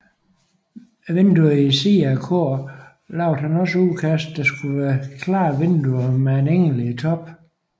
Vinduerne i siden af koret lavede han også udkast der skulle være klare vinduer med en engel i toppen